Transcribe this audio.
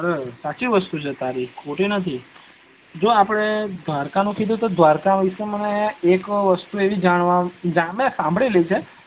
સાચી વસ્તુ છે ખોટી નથ જો આપડે દ્વારકા નું કીધુ દ્વારકા વિશે મને એક વસ્તુ એવી જણવા મળી મે સાંભળેલી છે